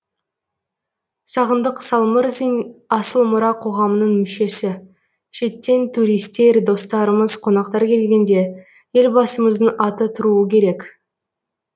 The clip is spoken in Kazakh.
сағындық салмырзин асыл мұра қоғамының мүшесі шеттен туристер достарымыз қонақтар келгенде елбасымыздың аты тұруы керек